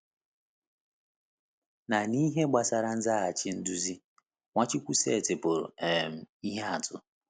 Na n’ihe gbasara ịzaghachi nduzi, Nwachukwu setịpụrụ um ihe atụ.